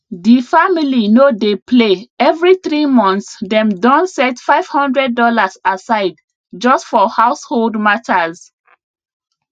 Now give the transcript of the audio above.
de family no dey play every three months dem don set 500 dollars aside just for household matters